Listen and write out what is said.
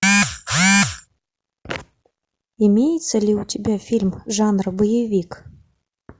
имеется ли у тебя фильм жанр боевик